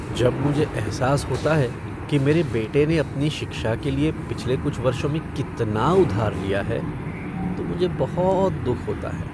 जब मुझे एहसास होता है कि मेरे बेटे ने अपनी शिक्षा के लिए पिछले कुछ वर्षों में कितना उधार लिया है तो मुझे बहुत दुख होता है।